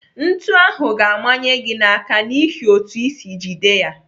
Ntu ahụ ga-amanye gị n'aka n'ihi otú isi jide ya.